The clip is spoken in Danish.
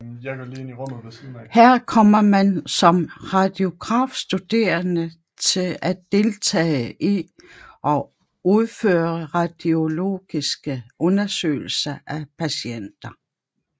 Her kommer man som radiografstuderende til at deltage i og udføre radiologiske undersøgelser af patienter